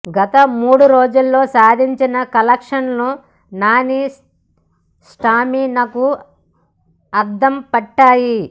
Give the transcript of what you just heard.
గత మూడు రోజుల్లో సాధించిన కలెక్షన్లు నాని స్టామినాకు అద్దం పట్టాయి